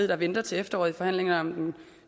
ved venter til efteråret i forhandlingerne om den